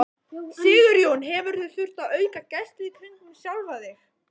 Sigurjón: Hefurðu þurft að auka gæslu í kringum sjálfa þig?